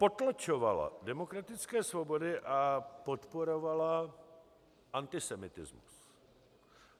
Potlačovala demokratické svobody a podporovala antisemitismus.